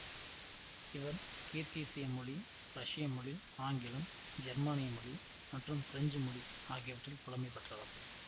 இவர் கிர்கீசிய மொழி ரஷ்ய மொழி ஆங்கிலம் ஜெர்மானிய மொழி மற்றும் பிரெஞ்சு மொழி ஆகியவற்றில் புலமை பெற்றவர்